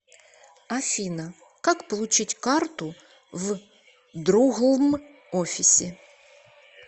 афина как получить карту в друглм офисе